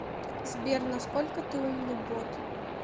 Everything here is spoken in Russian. сбер насколько ты умный бот